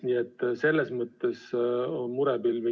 Nii et selles mõttes on murepilvi.